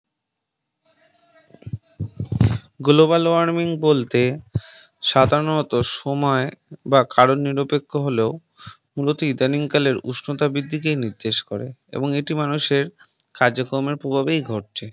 Global warming বলতে সাধারণত সময় বা কারণ নিরপেক্ষ হলেও মূলত ইদানিং কালের উষ্ণতা বৃদ্ধিকেই নির্দেশ করে এবং এটি মানুষের কার্য কর্মের প্রভাবেই ঘটছে